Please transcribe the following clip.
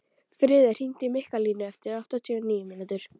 Friðey, hringdu í Mikkalínu eftir áttatíu og níu mínútur.